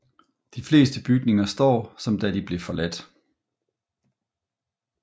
De fleste bygninger står som da de blev forladt